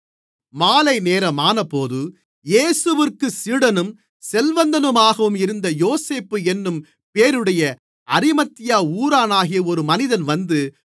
மாலைநேரமானபோது இயேசுவிற்குச் சீடனும் செல்வந்தனுமாகவும் இருந்த யோசேப்பு என்னும் பேருடைய அரிமத்தியா ஊரானாகிய ஒரு மனிதன் வந்து